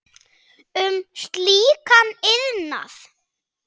um slíkan iðnað.